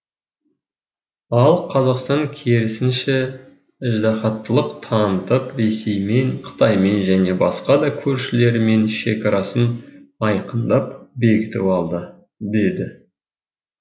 ал қазақстан керісінше ыждаһаттылық танытып ресеймен қытаймен және басқа да көршілерімен шекарасын айқындап бекітіп алды деді